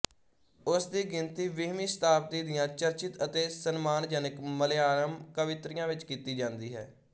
ਉਸ ਦੀ ਗਿਣਤੀ ਵੀਹਵੀਂ ਸ਼ਤਾਬਦੀ ਦੀਆਂ ਚਰਚਿਤ ਅਤੇ ਸਨਮਾਨਜਨਕ ਮਲਯਾਲਮ ਕਵਿਤਰੀਆਂ ਵਿੱਚ ਕੀਤੀ ਜਾਂਦੀ ਹੈ